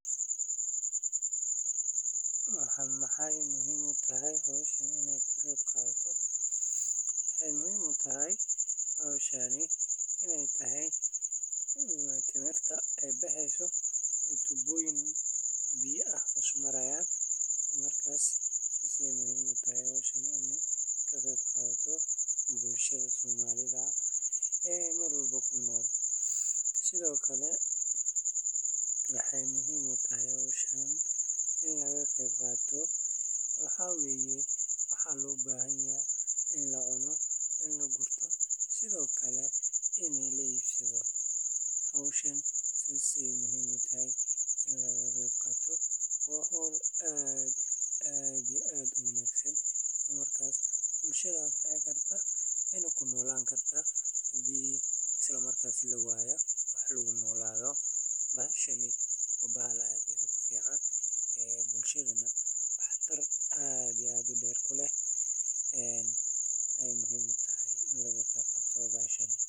Waxaana ugu daran in dhirtii la gooyo, dhulkii la daaqo xad dhaaf ah, oo aysan jirin dadaal lagu ilaalinayo deegaanka. Taasi waxay keentay in carro daad la tago, biyihiina aysan ku dhex kaydsamin dhulka. Haddii aan xal loo helin nabaad guurka, deegaanka waxa uu isu beddeli karaa lamadagaan aan la deggan karin. Fatahaaddu waa musiibo, balse nabaad guurka iyo abaaruhu waa halis aad u ba’an oo saameynteedu muddo dheer tahay, waxayna halis gelinayaan nolosha jiilasha dambe. Waxaa lama huraan ah in si wadajir ah wax looga qabto.